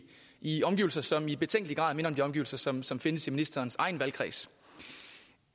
i omgivelser som i betænkelig grad minder om de omgivelser som som findes i ministerens egen valgkreds